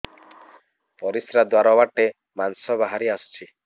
ପରିଶ୍ରା ଦ୍ୱାର ବାଟେ ମାଂସ ବାହାରି ଆସୁଛି